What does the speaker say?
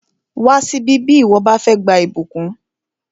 Wá síbí bí ìwọ bá fẹ́ gba ìbùkún!